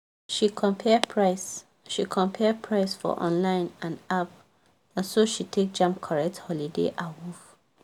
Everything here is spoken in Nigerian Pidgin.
she compare price she compare price for online and app naso she take jam correct holiday awoof.